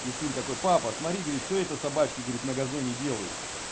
сын такой папа смотри говорит что это собачка говорит на газоне делают